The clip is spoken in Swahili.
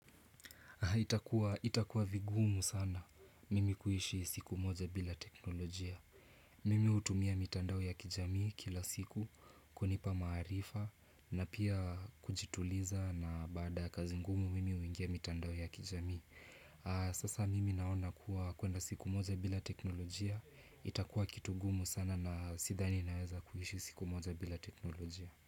Itakuwa vigumu sana mimi kuishi siku moja bila teknolojia. Mimi hutumia mitandao ya kijami kila siku kunipa maarifa na pia kujituliza na baada ya kazi ngumu mimi huingia mitandao ya kijami. Sasa mimi naona kuwa kuenda siku moja bila teknolojia. Itakuwa kitu ngumu sana na sidhani naweza kuishi siku moja bila teknolojia.